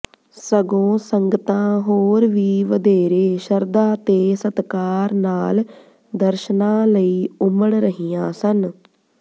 ਸਗੋਂ ਸੰਗਤਾਂ ਹੋਰ ਵੀ ਵਧੇਰੇ ਸ਼ਰਧਾ ਤੇ ਸਤਿਕਾਰ ਨਾਲ ਦਰਸ਼ਨਾ ਲਈ ਉਮੜ ਰਹੀਆਂ ਸਨ